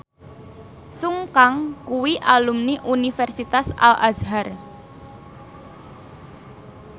Sun Kang kuwi alumni Universitas Al Azhar